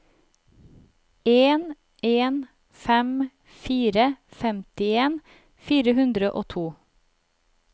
en en fem fire femtien fire hundre og to